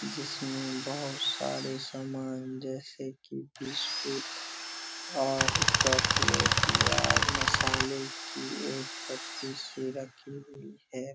जिसमे बहुत सारे सामान जैसे की बिस्कुट और चॉकलेट या मसाले की एक पत्ती सी रखी हुई है।